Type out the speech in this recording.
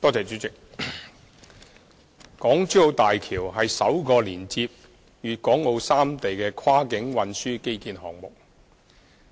主席，港珠澳大橋是首個連接粵港澳三地的跨境運輸基建項目。